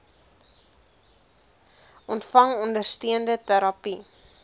ontvang ondersteunende terapie